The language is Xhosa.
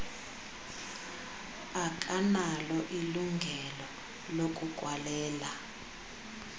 akanalo ilungelo lokukwalela